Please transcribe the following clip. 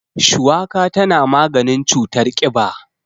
Shuwaka tana maganin cutar ƙiba.